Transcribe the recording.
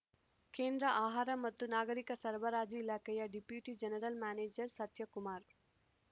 ಕೇಂದ್ರ ಆಹಾರ ಮತ್ತು ನಾಗರಿಕ ಸರಬರಾಜು ಇಲಾಖೆಯ ಡೆಪ್ಯುಟಿ ಜನರಲ್‌ ಮ್ಯಾನೇಜರ್‌ ಸತ್ಯಕುಮಾರ್‌